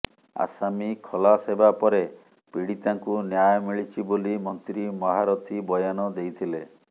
ଆସାମୀ ଖଲାସ ହେବା ପରେ ପୀଡ଼ିତାଙ୍କୁ ନ୍ୟାୟ ମିଳିଛି ବୋଲି ମନ୍ତ୍ରୀ ମହାରଥୀ ବୟାନ ଦେଇଥିଲେ